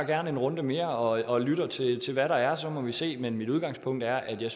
gerne en runde mere og lytter til hvad der er så må vi se men mit udgangspunkt er at vi